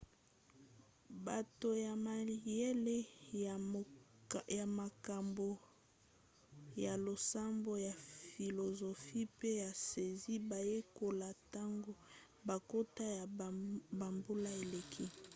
bato ya mayele ya makambo ya losambo ya filozofi pe ya siansi bayekola ntango bankoto ya bambula eleki